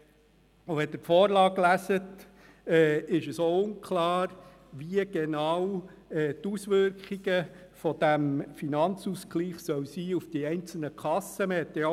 Wenn Sie die Vorlage lesen, ist auch unklar, wie genau die Auswirkungen dieses Finanzausgleichs auf die einzelnen Kassen sein sollen.